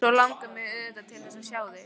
Svo langar mig auðvitað til þess að sjá þig.